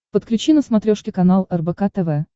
подключи на смотрешке канал рбк тв